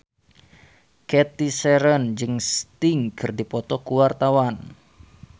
Cathy Sharon jeung Sting keur dipoto ku wartawan